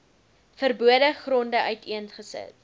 verbode gronde uiteengesit